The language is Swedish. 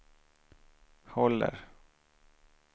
håller